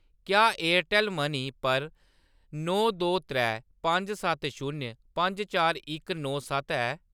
क्या Airtel money पर नौ दो त्रै पंज सत्त शून्य पंज चार इक नौ सत्त है?